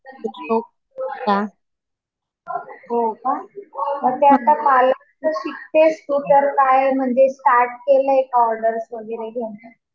हो का. मग ते आता पार्लरचं शिकतेस तू तर. काय स्टार्ट केलं का म्हणजे ऑर्डर वगैरे घेणं?